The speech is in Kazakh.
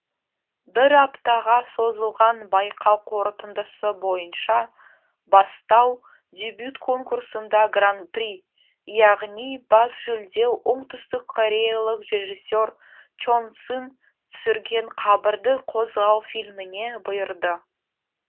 бір аптаға созылған байқау қорытындысы бойынша бастау дебют конкурсында гран при яғни бас жүлде оңтүстіккореялық режиссер чон сын түсірген қабірді қозғау фильміне бұйырды